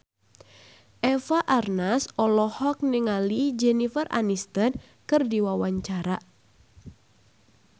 Eva Arnaz olohok ningali Jennifer Aniston keur diwawancara